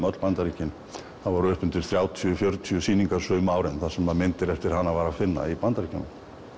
öll Bandaríkin það voru upp undir þrjátíu til fjörutíu sýningar sum árin þar sem myndir eftir hana var að finna í Bandaríkjunum